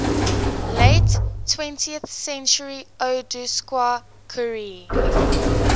late twentieth centuryodowska curie